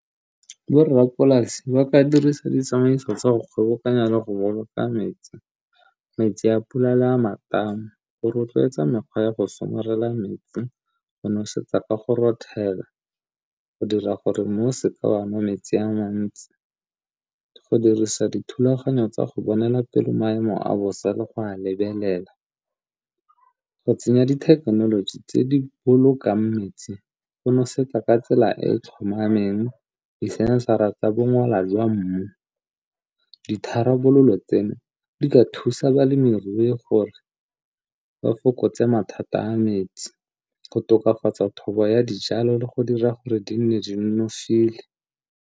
Borrapolasi ba ka dirisa ditsamaiso tsa go kgobokanya le go boloka metsi, metsi a pula le a matamo. Go rotloetsa mekgwa ya go somarela metsi, go nosetsa ka go rothela, go dira gore mmu o seka wa nwa metsi a mantsi, go dirisa dithulaganyo tsa go bonela pele maemo a bosa le go a lebelela. Go tsenya dithekenoloji tse di bolokang metsi go nosetsa ka tsela e e tlhomameng, disensara tsa bongola jwa mmu, ditharabololo tseno di ka thusa balemirui gore ba fokotse mathata a metsi, go tokafatsa thobo ya dijalo le go dira gore di nne di nonofile.